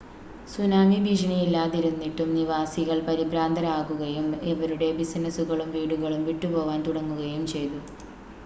tsunami ഭീഷണി ഇല്ലാതിരുന്നിട്ടും നിവാസികൾ പരിഭ്രാന്തരാകുകയും അവരുടെ ബിസിനസ്സുകളും വീടുകളും വിട്ടുപോവാൻ തുടങ്ങുകയും ചെയ്തു